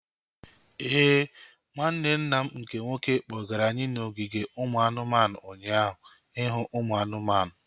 Éè, nwanne nna m nke nwoke kpọgara anyị n'ogige ụmụ anụmanụ ụnyaahụ ihu ụmụ anụmanụ